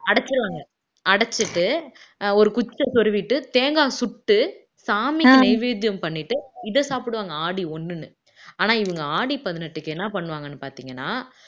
அடைச்சிருவாங்க அடைச்சுட்டு ஒரு குச்சியை சொருவிட்டு தேங்காய் சுட்டு சாமிக்கு நெய்வேத்தியம் பண்ணிட்டு இத சாப்பிடுவாங்க ஆடி ஒண்ணுன்னு ஆனா இவங்க ஆடி பதினெட்டுக்கு என்ன பண்ணுவாங்கன்னு பாத்தீங்கன்னா